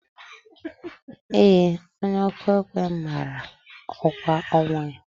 Ee, onye ọkụ ekwe mara ọkwa ọnwụ ya.